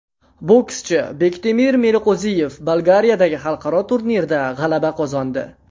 Bokschi Bektemir Meliqo‘ziyev Bolgariyadagi xalqaro turnirda g‘alaba qozondi.